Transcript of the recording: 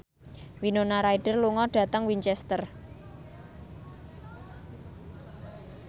Winona Ryder lunga dhateng Winchester